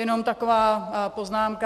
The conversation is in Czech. Jenom taková poznámka.